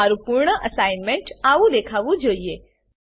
તમારું પૂર્ણ અસાઇનમેન્ટ આવું દેખાવું જોઈએ